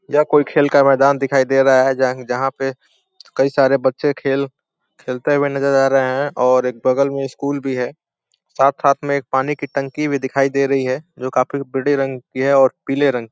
यह कोई खेल का मैदान दिखाई दे रहा है। जहाँ पे कई सारे बच्चे खेल खेलते हुए नजर आ रहे हैं और एक बगल में स्कूल भी है। साथ-साथ में पानी का टंकी भी दिखाई दे रही है जो काफी बड़ी रंग की है और पीले रंग--